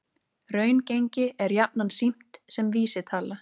Raungengi er jafnan sýnt sem vísitala